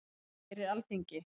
Það gerir Alþingi.